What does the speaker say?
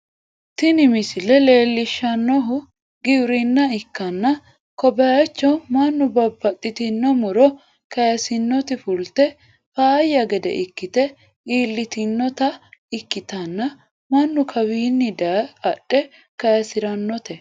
Tini misile leellishshannohu giwirinna ikkanna, ko bayicho mannu babbaxxitino muro kayisinoti fulte faayya gede ikkite iillitinota ikkitanna, mannu kawiinni daye adhe kayisirannote.